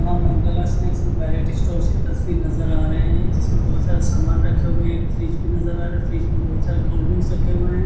मां Mangala snacks and stores के तस्वीर नजर आ रहे हैं जिसमें बोहोत सारे सामान रखे हुए हैं एक फ्रिज भी नजर आ रहा है फ्रिज में बोहोत सारे कोल्डड्रिंक रखे हुए हैं।